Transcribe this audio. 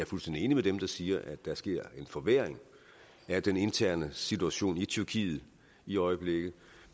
fuldstændig enig med dem der siger at der sker en forværring af den interne situation i tyrkiet i øjeblikket